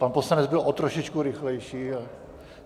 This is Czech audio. Pan poslanec byl o trošičku rychlejší.